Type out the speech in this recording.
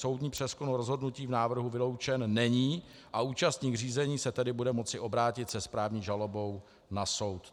Soudní přezkum rozhodnutí v návrhu vyloučen není a účastník řízení se tedy bude moci obrátit se správní žalobou na soud.